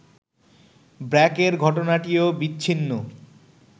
ব্র্যাকের ঘটনাটিও বিচ্ছিন্ন